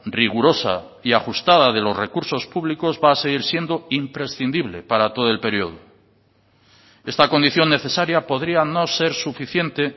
rigurosa y ajustada de los recursos públicos va a seguir siendo imprescindible para todo el periodo esta condición necesaria podría no ser suficiente